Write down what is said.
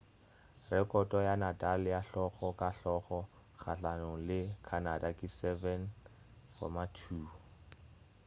rekhoto ya nadal ya hlogo ka hlogo kgahlanong le canada ke 7-2